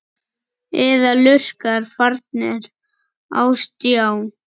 Eða lurkar farnir á stjá?